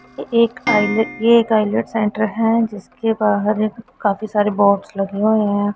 ये एक ये एक आ_इ_ल _ट _स सेंटर है जिसके बाहर काफी सारे बोर्ड्स लगे हुए है।